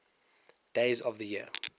days of the year